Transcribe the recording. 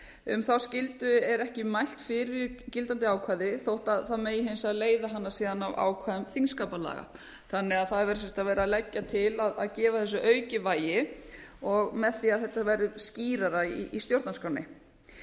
um þá skyldu er ekki mælt fyrir í gildandi ákvæði þótt það megi hins vegar leiða hana síðan að ákvæðum þingskapalaga þannig að það er verið að leggja til að gefa þessu aukið vægi með því að þetta verði skýrara í stjórnarskránni